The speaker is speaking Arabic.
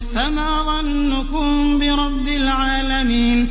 فَمَا ظَنُّكُم بِرَبِّ الْعَالَمِينَ